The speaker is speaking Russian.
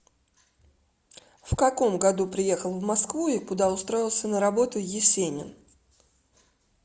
в каком году приехал в москву и куда устроился на работу есенин